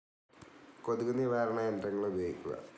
കൊതുകു നിവാരണ യന്ത്രങ്ങൾ ഉപയോഗിക്കുക.